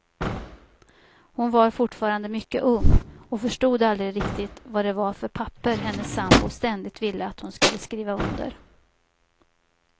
Hon var fortfarande mycket ung och förstod aldrig riktigt vad det var för papper hennes sambo ständigt ville att hon skulle skriva under.